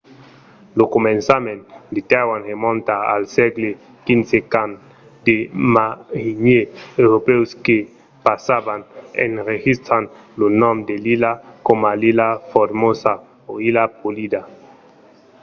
lo començament de taiwan remonta al sègle xv quand de marinièrs europèus que passavan enregistran lo nom de l'illa coma ilha formosa o illa polida